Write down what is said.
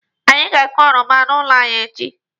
Anyị ga-akụ oroma n'ụlọ anyị echi.